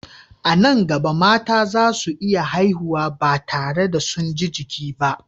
A nan gaba, mata za su iya haihuwa ba tare da sun ji jiki ba.